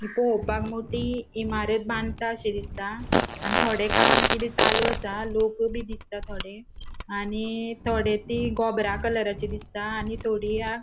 पोळोपाक मोटी इमारत बानताशी दिसता आणि थोड़े काम किते चालू असा लोक बी दिसता थोड़े आणि थोड़े ती गोबरा कलराची दिसता आणि थोड़ी या ----